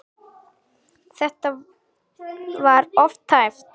Þetta var of tæpt.